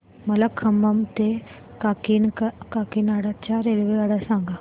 मला खम्मम ते काकीनाडा च्या रेल्वेगाड्या सांगा